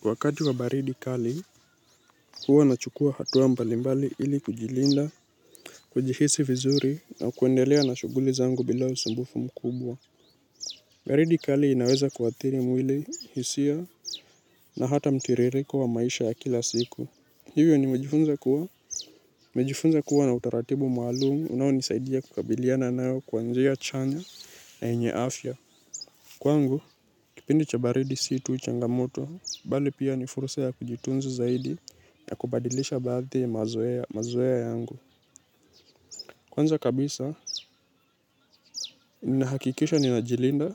Kwa wakati wa baridi kali, huwa nachukua hatua mbalimbali ili kujilinda, kujihisi vizuri na kuendelea na shughuli zangu bila usumbufu mkubwa. Baridi kali inaweza kuathiri mwili, hisia na hata mtiririko wa maisha ya kila siku. Hivyo nimejifunza kuwa. Nimejifunza kuwa na utaratibu maalum unaonisaidia kukabiliana nao kwa njia chanya na yenye afya. Kwangu, kipindi cha baridi situ changamoto, bali pia ni fursa kujitunza zaidi na kubadilisha baadhi mazoea yangu. Kwanza kabisa, ninahakikisha ninajilinda,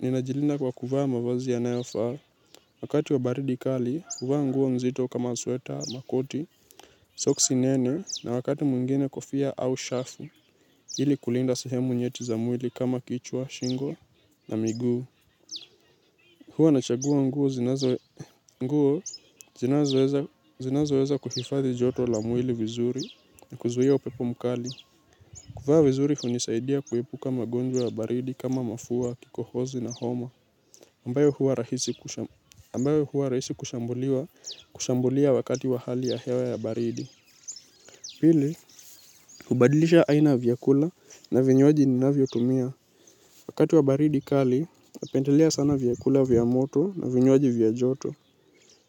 ninajilinda kwa kuvaa mavazi yanayofaa. Wakati wa baridi kali, huvaa nguo mzito kama sweta, makoti, soksi nene, na wakati mwingine kofia au shafu, ili kulinda sehemu nyeti za mwili kama kichwa, shingo na miguu. Huwa nachagua nguo zinazo zinazoweza kuhifadhi joto la mwili vizuri na kuzuia upepo mkali. Kuvaa vizuri hunisaidia kuepuka magonjwa ya baridi kama mafua, kikohozi na homa. Ambayo huwa rahisi kushambulia wakati wa hewa ya baridi pili, hubadilisha aina ya vyakula na vinywaji ninavyotumia. Wakati wa baridi kali, napendelea sana vyakula vya moto na vinywaji vya joto.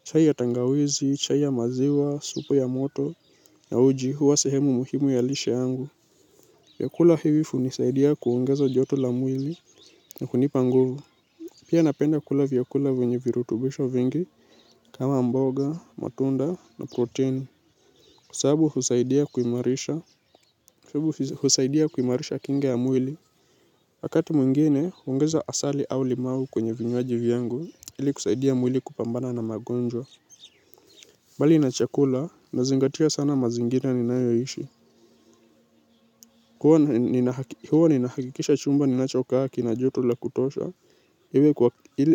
Chai ya tangawezi, chai ya maziwa, supu ya moto, na uji huwa sehemu muhimu ya lishe yangu. Vyakula hivi hunisaidia kuongeza joto la mwili na kunipa nguvu. Pia napenda kula vyakula vyenye virutubisho vingi kama mboga, matunda na protini kwa sababu husaidia kuimarisha husaidia kuimarisha kinga ya mwili. Wakati mwingine, huongeza asali au limau kwenye vinywaji vyangu ili kusaidia mwili kupambana na magonjwa. Mbali na chakula, nazingatia sana mazingira ninayoyaishi. Huwa ninahakikisha chumba ninachokaa kina joto la kutosha.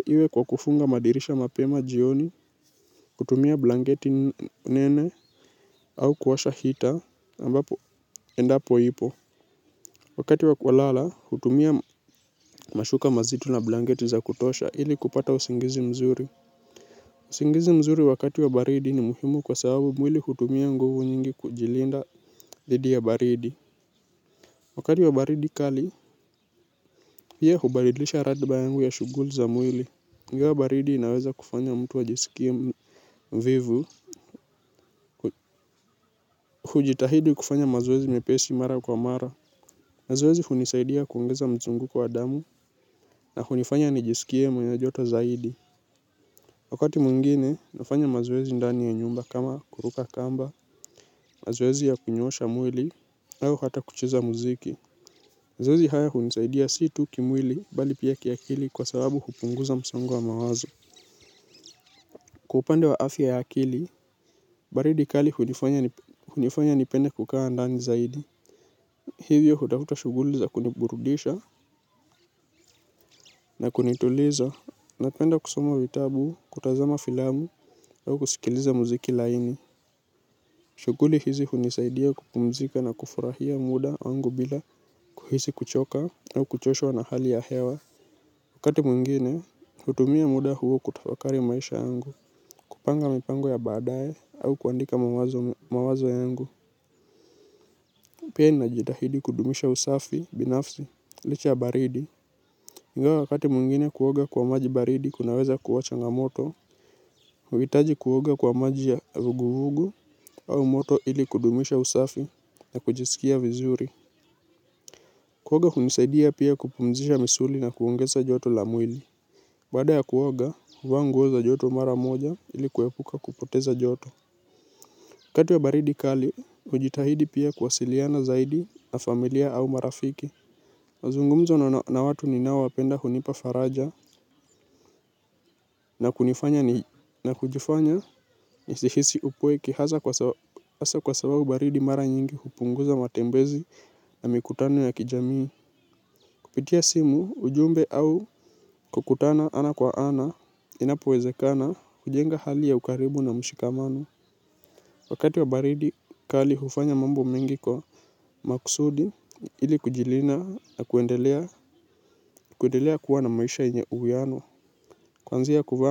Iwe kwa kufunga madirisha mapema jioni, kutumia blanketi nene au kuwasha hita ambapo endapo ipo. Wakati wa kulala, hutumia mashuka mazito na blanketi za kutosha ili kupata usingizi mzuri. Usingizi mzuri wakati wa baridi ni muhimu kwa sababu mwili hutumia nguvu nyingi kujilinda dhidi ya baridi. Wakati wa baridi kali, hiyo hubadilisha ratiba yangu ya shughuli za mwili ingawa baridi inaweza kufanya mtu ajisikie mvivu. Hujitahidi kufanya mazoezi mepesi mara kwa mara. Mazoezi hunisaidia kuongeza mzunguko wa damu na hunifanya nijisikie mwenye joto zaidi. Wakati mwngine, nafanya mazoezi ndani ya nyumba kama kuruka kamba mazoezi ya kunyoosha mwili au hata kucheza muziki mazoezi haya hunisaidia si tu kimwili bali pia kiakili kwa sababu upunguza msongo wa mawazo. Kwa upande wa afya ya akili, baridi kali hunifanya nipende kukaa ndani zaidi. Hivyo hutafuta shughuli za kuniburudisha na kunituliza. Napenda kusoma vitabu, kutazama filamu au kusikiliza muziki laini. Shughuli hizi hunisaidia kupumzika na kufurahia muda wangu bila kuhisi kuchoka au kuchoshwa na hali ya hewa. Wakati mwingine hutumia muda huu kutafakari maisha yangu, kupanga mipango ya baadaye au kuandika mawazo yangu. Pia ninajitahidi kudumisha usafi, binafsi, licha ya baridi. Ingawa wakati mwingine kuoga kwa maji baridi kunaweza kuwa changamoto, hauhitaji kuoga kwa maji ya vuguvugu au moto ili kudumisha usafi na kujisikia vizuri. Kuoga kunanisaidia pia kupumzisha misuli na kuongeza joto la mwili. Baada ya kuoga, huvaa nguo za joto mara moja ili kuepuka kupoteza joto. Wakati wa baridi kali, hujitahidi pia kuwasiliana zaidi na familia au marafiki. Mazungumzo na watu ninaowapenda hunipa faraja na kunifanya na kujifanya nisihisi upweke hasa hasa kwa sababu baridi mara nyingi hupunguza matembezi na mikutano ya kijamii. Kupitia simu ujumbe au kukutana ana kwa ana inapowezekana hujenga hali ya ukaribu na mshikamano wakati wa baridi kali hufanya mambo mengi kwa maksudi ili kujilinda na kuendelea kuendelea kuwa na maisha yenye uwiano. Kuanzia kuvaa.